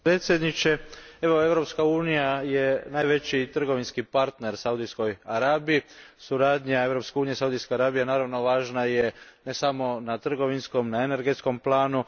Gospodine predsjedniče, Europska unija je najveći trgovinski partner Saudijskoj Arabiji. Suradnja Europske unije i Saudijske Arabije naravno važna je ne samo na trgovinskom, energetskom planu